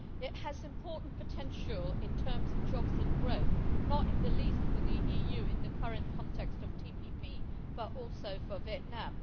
It has important potential in terms of jobs and growth, not least for the EU in the current context of TPP, but also for Vietnam.